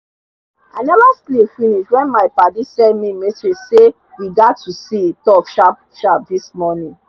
i neva sleep finis wen my padi send mi message say we get to see talk sharp sharp dis morning